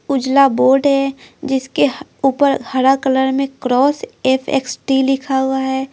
उजला बोर्ड है जिसके ऊपर हरा कलर में क्रॉस एफ़_एक्स_टी लिखा हुआ है।